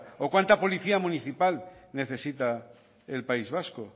o cuanta policía municipal necesita el país vasco